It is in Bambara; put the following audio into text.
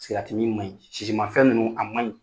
Sigariti min maɲi sisimafɛn ninnu a maɲi